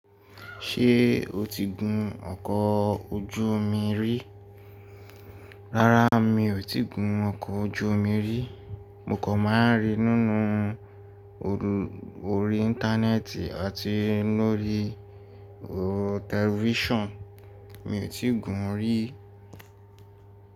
Ṣé o ti gùn ọkọ̀ ojú omi rí? Rárá mi ò tí gùn ọkọ̀ ojú omi rí. Mo kàn máa ń rí i nínú orí íńtánẹ́ẹ̀tì àti lórí tẹlifísàn. Mi ò tí gùn ún rí.